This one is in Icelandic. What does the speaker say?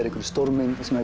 einhverri stórmynd sem